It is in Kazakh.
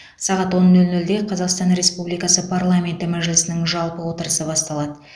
сағат он нөл нөлде қазақстан республикасы парламенті мәжілісінің жалпы отырысы басталады